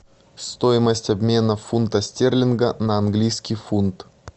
стоимость обмена фунта стерлинга на английский фунт